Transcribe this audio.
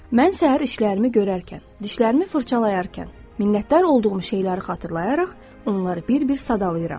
Mən səhər işlərimi görərkən, dişlərimi fırçalayarkən, minnətdar olduğum şeyləri xatırlayaraq, onları bir-bir sadalayıram.